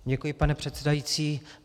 Děkuji, pane předsedající.